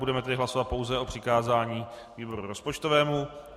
Budeme tedy hlasovat pouze o přikázání výboru rozpočtovému.